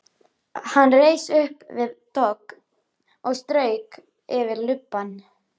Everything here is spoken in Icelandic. Hann reis upp við dogg og strauk yfir lubbann.